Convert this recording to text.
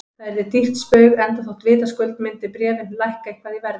Það yrði dýrt spaug, enda þótt vitaskuld myndu bréfin lækka eitthvað í verði.